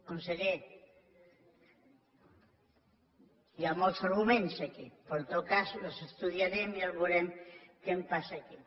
conseller hi ha molts arguments aquí però en tot cas els estudiarem i ja veurem què passa aquí